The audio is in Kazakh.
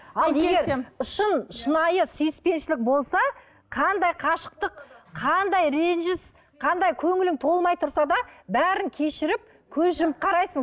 шын шынайы сүйіспеншілік болса қандай қашықтық қандай ренжіс қандай көңілің толмай тұрса да бәрін кешіріп көз жұмып қарайсың